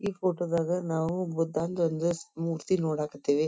ಈ ಫೋಟೋ ದಾಗ ನಾವು ಬುದ್ಧನ ಒಂದು ಮೂರ್ತಿ ನೋಡಕ್ ಹತ್ತೀವಿ.